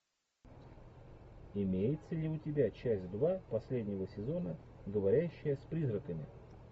имеется ли у тебя часть два последнего сезона говорящая с призраками